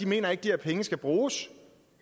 mener at de her penge skal bruges